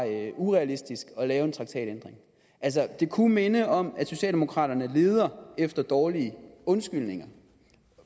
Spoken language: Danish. urealistisk at lave en traktatændring det kunne minde om at socialdemokraterne leder efter dårlige undskyldninger